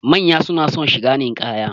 Manya na son shiga ninkaya